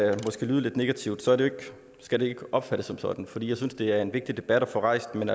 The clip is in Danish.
lyde lidt negativt skal det ikke opfattes sådan for jeg synes det er en vigtig debat at få rejst men